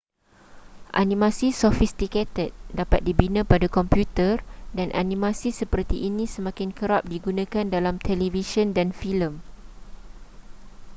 animasi sofistikated dapat dibina pada komputer dan animasi seperti ini semakin kerap digunakan dalam televisyen dan filem